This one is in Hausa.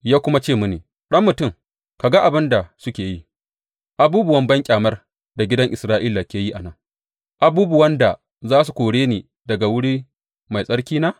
Ya kuma ce mini, Ɗan mutum, ka ga abin da suke yi, abubuwan banƙyamar da gidan Isra’ila ke yi a nan, abubuwan da za su kore ni daga wuri mai tsarkina?